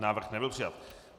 Návrh nebyl přijat.